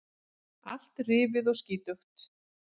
Allt rifið og skítugt.